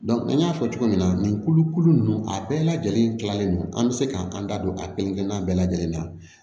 an y'a fɔ cogo min na nin kulukulu ninnu a bɛɛ lajɛlen kilalen don an bɛ se k'an da don a kelen kelen na bɛɛ lajɛlen na